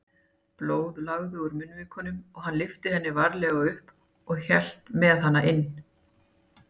Blóð lagaði úr munnvikunum og hann lyfti henni varlega upp og hélt með hana inn.